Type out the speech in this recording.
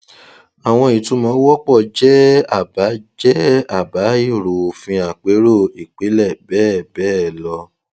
àwọn ìtumọ wọpọ jẹ àbá jẹ àbá èrò òfin àpérò ìpìlẹ bẹẹ bẹẹ lọ